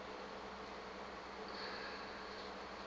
ge a ka be a